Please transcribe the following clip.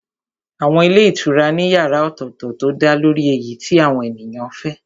Àwọn ilé ìtura ní yàrá ọ̀tọ̀tọ̀ tó dálórí èyí tí àwọn èèyàn fẹ́